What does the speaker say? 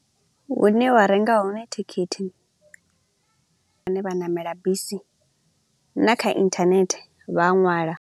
Hune wa renga hone thikhithi vhane vha ṋamela bisi na kha internet vha a ṅwala.